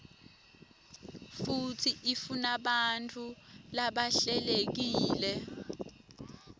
futsi ifunabantfu labahlelekile